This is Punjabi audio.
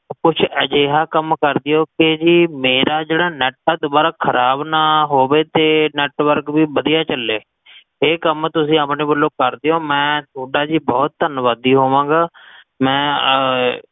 ਓਹ ਕੁਛ ਅਜੇਹਾ ਕਮ ਕ੍ਰ੍ਦੇਓ ਕਿ ਜੀ ਮੇਰਾ ਜੇਹੜਾ network ਦ੍ਬਾਰਾ ਖਰਾਬ ਨਾ ਹੋਵੇ ਤੇ network ਵੀ ਬਦੀਆ ਚਲੇ ਇਹ ਕਮ ਤੁਸੀਂ ਆਪਣੇ ਵੱਲੋ ਕ੍ਰ੍ਦੇਓ ਮੈਂ ਥੋਡਾ ਜੀ ਬਹੋਤ ਤਨ੍ਵਾਦੀ ਹੋਵਾਂਗਾ ਮੈਂ